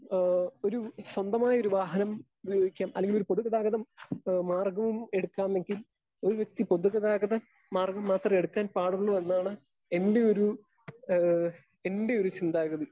Speaker 2 ഏഹ് ഒരു സ്വന്തമായൊരു വാഹനം ഉപയോഗിക്കാൻ അല്ലെങ്കിലൊരു പൊതുഗതാഗതം മാർഗവും എടുക്കാമെങ്കിൽ ഒരു വ്യക്തി പൊതുഗതാഗത മാർഗം മാത്രം എടുക്കാൻ പാടുള്ളൂ എന്നാണ് എൻ്റെയൊരു ഏഹ് എൻ്റെയൊരു ചിന്താഗതി.